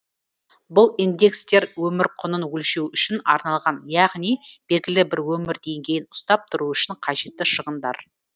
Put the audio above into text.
бұл индекстер өмір құнын өлшеу үшін арналған яғни белгілі бір өмір деңгейін ұстап тұру үшін қажетті шығындар